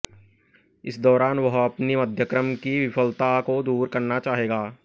इस दौरान वह अपनी मध्यक्रम की विफलता को दूर करना चाहेगा